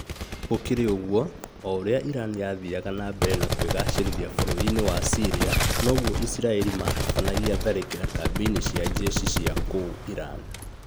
Gũkĩrĩ ũguo, o ũrĩa Iran yathiaga na mbere na kwĩgacĩrithia bũrũri-inĩ wa Syria noguo Isiraĩri matabanagia tharĩkĩra kambĩ-inĩ cia jeshi cia kũu Iran